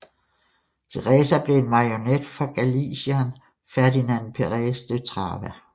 Theresa blev en marionet for galicieren Ferdinand Perez de Trava